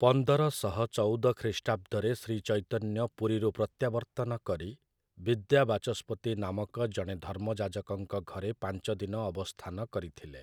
ପନ୍ଦର ଶହ ଚଉଦ ଖ୍ରୀଷ୍ଟାବ୍ଦରେ ଶ୍ରୀଚୈତନ୍ୟ ପୁରୀରୁ ପ୍ରତ୍ୟାବର୍ତ୍ତନ କରି ବିଦ୍ୟାବାଚସ୍ପତି ନାମକ ଜଣେ ଧର୍ମଯାଜକଙ୍କ ଘରେ ପାଞ୍ଚଦିନ ଅବସ୍ଥାନ କରିଥିଲେ ।